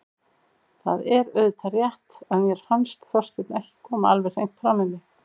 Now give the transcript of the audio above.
Það er auðvitað rétt að mér fannst Þorsteinn ekki koma alveg hreint fram við mig.